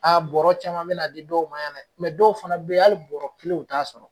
bɔrɔ caman mina di dɔw ma yan dɛ dɔw fana be yen, hali bɔrɔ kelen u t'a sɔrɔ